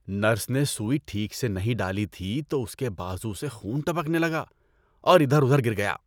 Nurse نے سوئی ٹھیک سے نہیں ڈالی تھی تو اس کے بازو سے خون ٹپکنے لگا اور ادھر اُدھر گر گیا۔